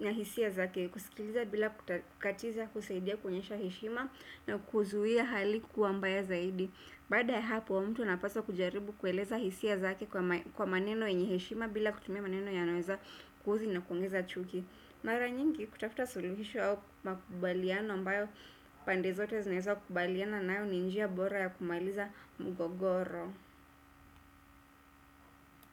na hisia zake. Kusikiliza bila kukatiza kusaidia kuonyesha heshima na kuzuhia hali kuwa mbaya zaidi. Baada ya hapo mtu anapaswa kujaribu kueleza hisia zake kwa maneno yenye heshima bila kutumia maneno yanaeza kuhozi na kuongeza chuki. Mara nyingi kutafuta suluhisho au makubaliana ambayo pande zote zinaeza kubaliana nayo ni njia bora ya kumaliza mgogoro.